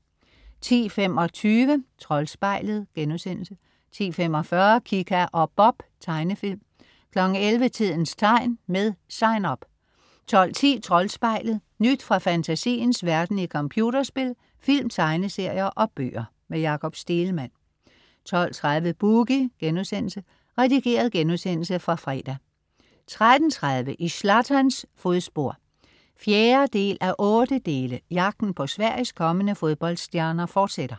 10.25 Troldspejlet* 10.45 Kika og Bob. Tegnefilm 11.00 Tidens tegn. Med SIGN UP 12.10 Troldspejlet. Nyt fra fantasiens verden i computerspil, film, tegneserier og bøger. Jakob Stegelmann 12.30 Boogie.* Redigeret genudsendelse fra fredag 13.30 I Zlatans fodspor 4:8. Jagten på Sveriges kommende fodboldstjerner fortsætter